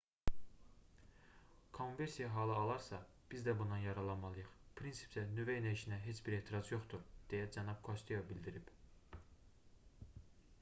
kommversiya halı alarsa biz də bundan yararlanmalıyıq prinsipcə nüvə enerjisinə heç bir etiraz yoxdur deyə cənab kosteyo bildirib